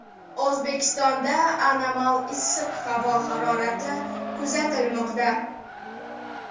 O‘zbekistonda anomal issiq havo harorati kuzatilmoqda.